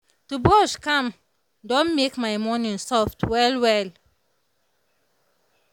to brush calm don make my morning soft well well.